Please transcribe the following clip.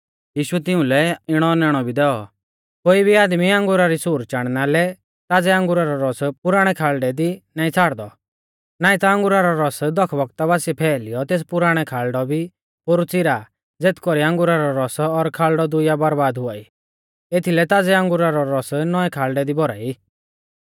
यीशुऐ तिउंलै इणौ औनैणौ भी दैऔ कोई भी आदमी अंगुरा री सूर चाणना लै ताज़ै अंगुरा रौ रस पुराणै खाल़ढै दी नाईं छ़ाड़दौ नाईं ता अंगुरा रौ रस दख बौगता बासिऐ फैलीयौ तेस पुराणौ खाल़ढौ भी पोरु च़ीरा ज़ेथ कौरीऐ अंगुरा रौ रस और खाल़ढौ दुइया बरबाद हुआई एथीलै ताज़ै अंगुरा रौ रस नौऐ खाल़ढै दी भौराई